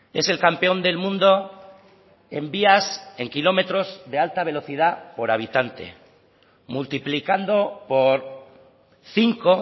es el campeón del mundo en vías en kilómetros de alta velocidad por habitante multiplicando por cinco